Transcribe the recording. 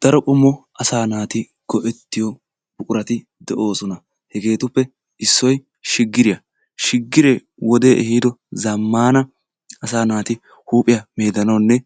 Daro qommo asaa naati go'ettiyo buqurati de'oosona. Hegeetuppe issoy shiggiriya. shiggiree wodee ehiido zamaana asaa naati huuphiya meedanawunne